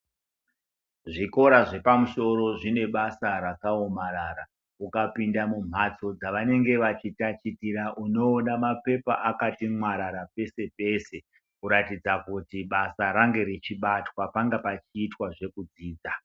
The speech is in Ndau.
Zvikora zvepamusoro zvine basa rakaomarara ukapinda mumhatso dzavanenge vachitachitira unoona mapepa akati mwararara peshe peshe kuratidza kuti basa range richibatwa panga pachiitwa zvekudzidza .